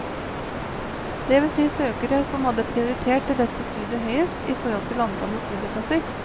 Det vil si søkere som hadde prioritert dette studiet høyest, i forhold til antallet studieplasser.